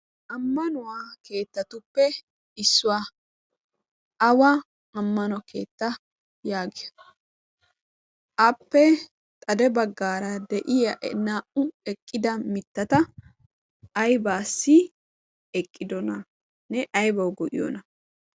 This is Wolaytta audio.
ammanuwaa keettatuppe issuwaa awa ammano keetta yaagiya appe xade baggaara de'iya naa''u eqqida mittata aibaasi eqqidona ne aybawu go'iyoona